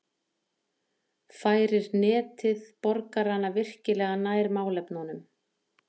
færir netið borgarana virkilega nær málefnunum